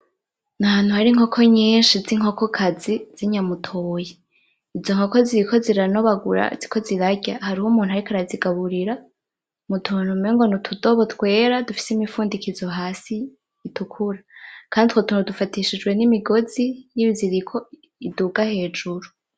Ni ahantu hari inkoko nyinshi z'inkoko kazi z'inyamutoyi , izo nkoko ziriko ziranobagura ziriko zirarya, hariho umuntu ariko arazigaburira mutuntu umengo nimutudobo twera dufise imifundikizo hasi itukura, kandi utwo tuntu basufatishijwe nimigozi y'ibiziriko iduga hejuru.